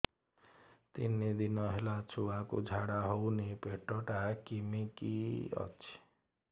ତିନି ଦିନ ହେଲା ଛୁଆକୁ ଝାଡ଼ା ହଉନି ପେଟ ଟା କିମି କି ଅଛି